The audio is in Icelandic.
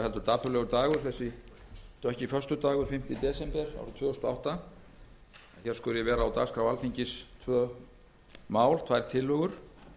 föstudagur fimmta desember árið tvö þúsund og átta að hér skuli vera á dagskrá alþingis tvö mál tvær tillögur